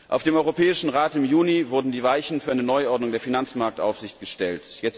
Auf dem Europäischen Rat im Juni wurden die Weichen für eine Neuordnung der Finanzmarktaufsicht gestellt.